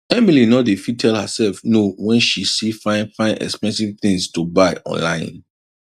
emily no dey fit tell herself no when she see fine fine expensive things to buy online